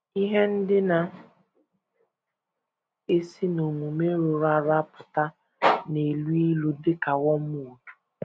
Ihe ndị na - esi n’omume rụrụ arụ apụta na - elu ilu dị ka wormwood